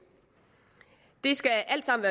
det skal alt sammen